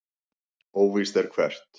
Óvíst er hvert.